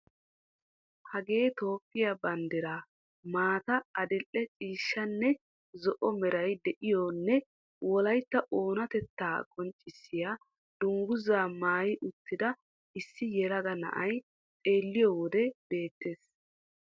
Hagee Toophphiya banddiraa maata, adil"e ciishshanne zo"o meray de'iyo nne wolaytta oonatettaa qonccissiya dungguzaa maayi uttida issi yelaga na'ay xeelliyo wode beettees.